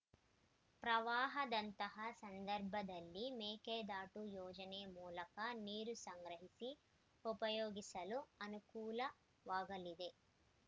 ಪ್ರವಾಹದಂತಹ ಸಂದರ್ಭದಲ್ಲಿ ಮೇಕೆದಾಟು ಯೋಜನೆ ಮೂಲಕ ನೀರು ಸಂಗ್ರಹಿಸಿ ಉಪಯೋಗಿಸಲು ಅನುಕೂಲವಾಗಲಿದೆ